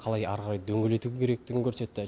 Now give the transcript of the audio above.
қалай әрі қарай дөңгелету керектігін көрсетті